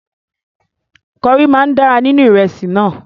Kọrí máa dára níní ìrẹsì náà.